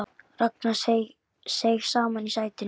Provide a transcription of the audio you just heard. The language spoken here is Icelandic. Ragnar seig saman í sætinu.